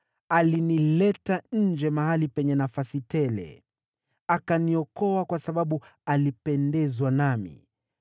Alinileta nje mahali penye nafasi tele, akaniokoa kwa kuwa alipendezwa nami.